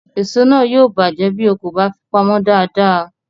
Èso náà yóò bàjẹ́ bí o kò bá fi pamọ́ dáadáa